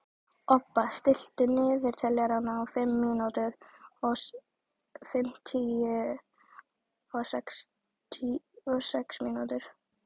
Obba, stilltu niðurteljara á fimmtíu og sex mínútur.